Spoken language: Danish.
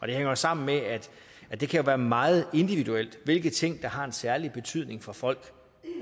det hænger jo sammen med at det kan være meget individuelt hvilke ting der har særlig betydning for folk